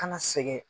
Kana sɛgɛn